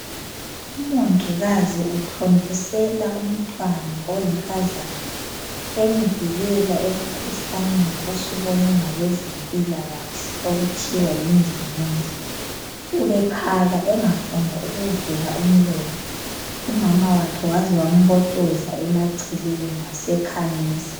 Umongikazi uthontisela umntwana oyinkazana emvikela emkhuhlaneni osubonwe ngabezempilakahle okuthiwa yindingindi. Ubekhala engafuni ukuvula umlomo umama wakhe waze wambotoza emaceleni wasekhamisa.